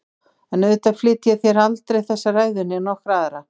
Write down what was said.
En auðvitað flyt ég þér aldrei þessa ræðu né nokkra aðra.